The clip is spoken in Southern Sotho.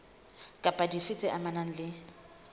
kapa dife tse amanang le